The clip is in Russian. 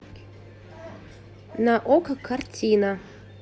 на окко картина